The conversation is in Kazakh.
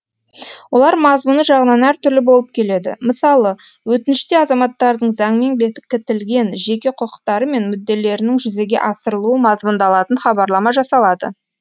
олар мазмұны жағынан әртүрлі болып келеді мысалы өтініште азаматтардың заңмен бекітілген жеқе құқықтары мен мүдделерінің жүзеге асырылуы мазмұндалатын хабарлама жасалады